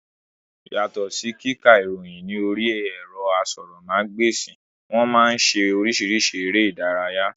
Yàtọ̀ sí kíka ìròyìn ní orí ẹ̀rọ asọ̀rọ̀ ma gba èsì, wọ́n máa ń ṣe oríṣìíríṣìí eré ìdárayá